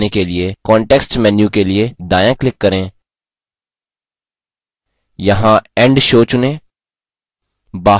slide show से बाहर आने के लिए context menu के लिए दायाँclick करें यहाँ end show चुनें